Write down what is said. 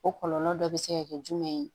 O kɔlɔlɔ dɔ bɛ se ka kɛ jumɛn ye